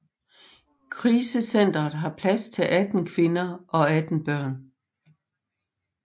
Krisecentret har plads til 18 kvinder og 18 børn